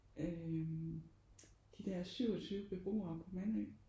Øh de der 27 beboere på Mandø